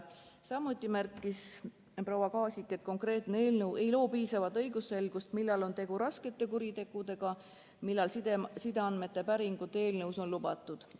Samuti märkis proua Maasik, et konkreetne eelnõu ei loo piisavat õigusselgust, millal on tegu raskete kuritegudega ja millal sideandmete päringud eelnõu kohaselt on lubatud.